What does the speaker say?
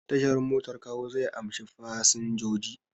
Tashar motar Kawo zai amshi fasinjoji.